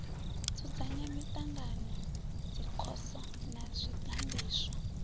dzudzanya miṱangano dzikhoso na zwiganḓiswa